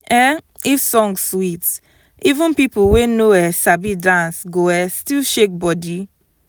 um if song sweet even people wey no um sabi dance go um still shake body.